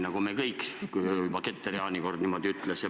Eks me kõik jääme vanaks, kui juba Getter Jaani niimoodi ütleb.